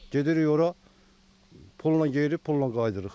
Gedirik ora, pulla gedirik, pulla qayıdırıq.